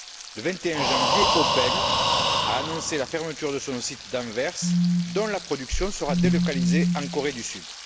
Le 21 janvier, Opel a annoncé la fermeture de son site d'Anvers, dont la production sera délocalisée en Corée du Sud.